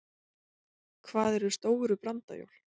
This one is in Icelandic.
Hvað eru stóru brandajól?